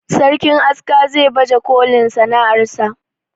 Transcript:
sarkin aska za baje kolin sana'ar sa